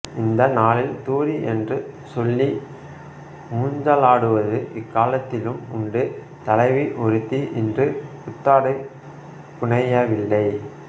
இந்த நாளில் தூறி என்று சொல்லி ஊஞ்சலாடுவது இக்காலத்திலும் உண்டு தலைவி ஒருத்தி இன்று புத்தாடை புனையவில்லை